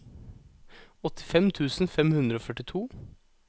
åttifem tusen fem hundre og førtito